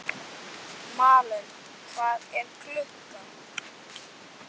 Malen, hvað er klukkan?